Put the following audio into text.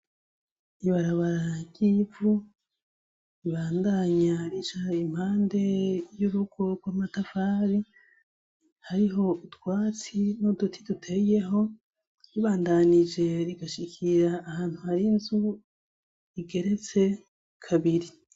Ibarabara ry'ivu ribandanya rica impande y'urugo rw'amatafari hariho utwatsi n'uduti duteyeho, ribandanije rigashikira ahantu har'inzu igeretse kabiri.